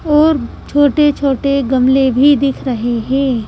और छोटे-छोटे गमले भी दिख रहे हैं।